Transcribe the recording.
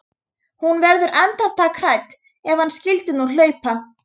Hún verður andartak hrædd: Ef hann skyldi nú hlaupa.